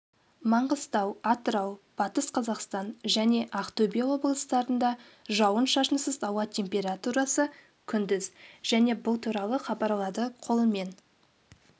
маңғыстау атырау батыс қазақстан және ақтөбе облыстарында жауын-шашынсыз ауа температурасы күндіз және бұл туралы хабарлады қолымен